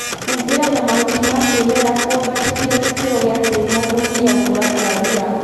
Humbĩra na mahuti ma kĩmerera kũambatĩria gĩkĩro gia tĩri na kũnyihia gũkũra kwa ria